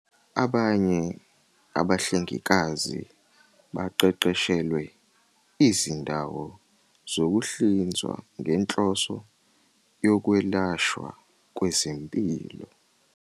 "Abanye abahlengikazi baqeqeshelwe izindawo zokuhlinzwa ngenhloso yokwelashwa kwezempilo."